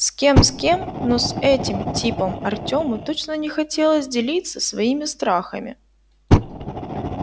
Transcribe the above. с кем с кем но с этим типом артёму точно не хотелось делиться своими страхами